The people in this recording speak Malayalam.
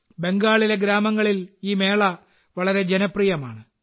ബംഗാളിലെ ഗ്രാമങ്ങളിൽ ഈ മേള വളരെ ജനപ്രിയമാണ്